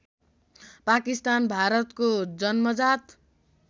पाकिस्तान भारतको जन्मजात